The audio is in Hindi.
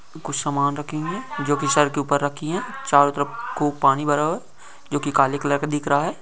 कुछ सामान रखेंगे जो कि सर के ऊपर रखी हैं चारो तरफ पानी भरा हुआ हैं जो की काले कलर का दिखाई दे रहा हैं।